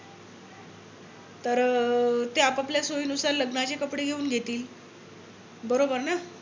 तर अं ते आपापल्या सोई नुसार लग्नाचे कपडे घेऊन घेतील. बरोबर ना.